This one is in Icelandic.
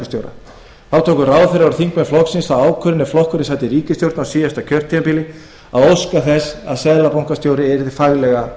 tóku ráðherrar og þingmenn flokksins þá ákvörðun er flokkurinn sat í ríkisstjórn á síðasta kjörtímabili að óska þess að seðlabankastjóri yrði faglega